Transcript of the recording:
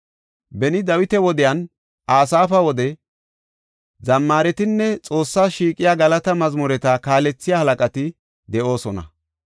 Beni Dawita wodenne Asaafa wode zammaretinne Xoossas shiiqiya galata mazmureta kaalethiya halaqati de7oosona.